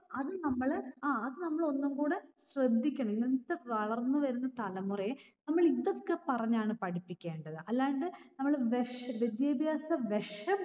അത് നമ്മള് ആഹ് അത് നമ്മള് ഒന്ന്കൂടെ ശ്രദ്ധിക്കണം. ഇന്നത്തെ വളർന്ന് വരുന്ന തലമുറയെ നമ്മള് ഇതൊക്കെ പറഞ്ഞാണ് പഠിപ്പിക്കേണ്ടത്. അല്ലാണ്ട് നമ്മള് വെശ്വിദ്യാഭ്യാസ വിഷം